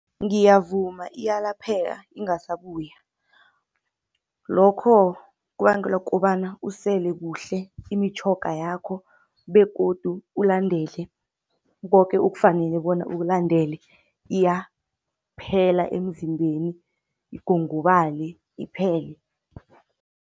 Ngiyavuma iyalapheka ingasabuya, lokho kubangelwa kukobana usele kuhle imitjhoga yakho begodu ulandele koke okufanele bona ukulandele. Iyaphela emzimbeni, igongobale iphele.